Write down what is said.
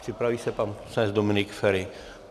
Připraví se pan poslanec Dominik Feri.